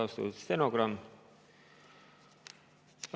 Väga austatud stenogramm!